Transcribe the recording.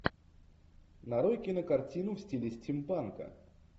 нарой кинокартину в стиле стимпанка